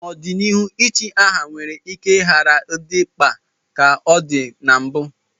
N'ọdịnihu, ichi aha nwere ike ghara ịdị mkpa dị ka ọ dị na mbụ